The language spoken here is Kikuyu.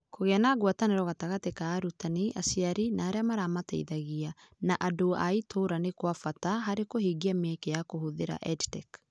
Kũgĩa na ngwatanĩro gatagatĩ ka arutani , aciari na arĩa maramateithagia , na andũ a itũũra nĩ kwa bata harĩ kũhingia mĩeke ya kũhũthĩra EdTech .